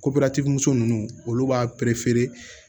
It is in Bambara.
muso nunnu olu b'a